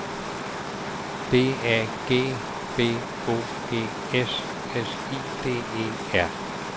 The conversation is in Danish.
D A G B O G S S I D E R